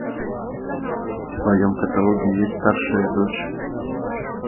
в твоем каталоге есть старшая дочь